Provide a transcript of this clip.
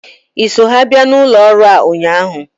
Ị so ha bịa n'ụlọ ọrụ a ụnyaahụ?